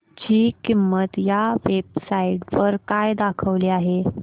ची किंमत या वेब साइट वर काय दाखवली आहे